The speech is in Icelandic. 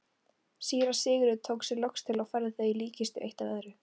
Síra Sigurður tók sig loks til og færði þau í líkkistu eitt af öðru.